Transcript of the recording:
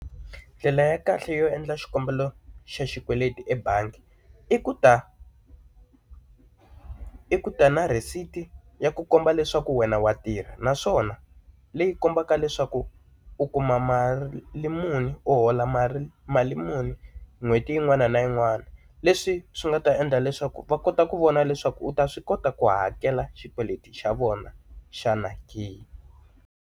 Ndlela ya kahle yo endla xikombelo xa xikweleti ebangi i ku ta i ku ta na rhesiti ya ku komba leswaku wena wa tirha, naswona leyi kombaka leswaku u kuma mali muni u hola mali mali muni n'hweti yin'wana na yin'wana. Leswi swi nga ta endla leswaku va kota ku vona leswaku u ta swi kota ku hakela xikweleti xa vona xana ke.